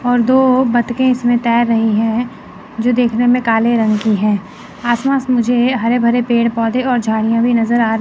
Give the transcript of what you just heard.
और दो बत्तखें इसमें तैर रही है जो देखने में काले रंग की है आस पास मुझे हरे भरे पेड़ पौधे और झाड़ियां भी नज़र आ--